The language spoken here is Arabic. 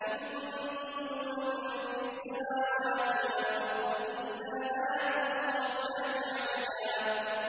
إِن كُلُّ مَن فِي السَّمَاوَاتِ وَالْأَرْضِ إِلَّا آتِي الرَّحْمَٰنِ عَبْدًا